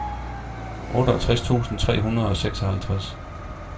otteogtres tusind tre hundrede og seksoghalvtreds